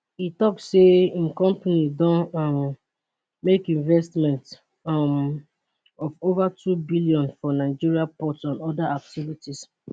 e tok say im company don um make investment um of ova 2 billion for nigeria ports and oda activities